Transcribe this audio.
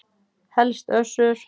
Helst Össur.